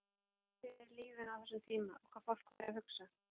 Veltirðu mikið fyrir þér lífinu á þessum tíma og hvað fólk væri að hugsa?